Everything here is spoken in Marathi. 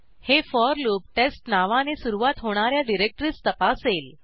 हे फोर लूप testनावाने सुरूवात होणा या डिरेक्टरीज तपासेल